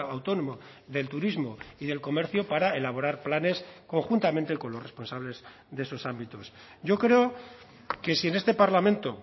autónomo del turismo y del comercio para elaborar planes conjuntamente con los responsables de esos ámbitos yo creo que si en este parlamento